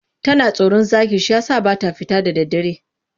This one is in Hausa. Tana tsoron zaki shi ya sa ba ta fita da daddare.